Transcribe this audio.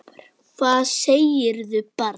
Hvað segirðu barn?